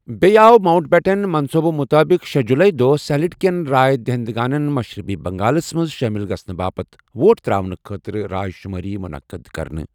بیٚیہ آیہ ماونٛٹبیٹن منصوُبہٕ مُطٲبق، شے جُلایی دوہ سِلہٹ كین راے دہندگانن مشرقی بنگالس منز شٲمِل گژھنہٕ باپت ووٹ تر٘اونہٕ خٲطرٕ راے شٗمٲری ٗمٖنقد كرنہٕ ۔